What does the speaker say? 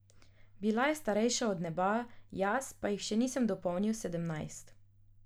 Bila je starejša od neba, jaz pa jih še nisem dopolnil sedemnajst.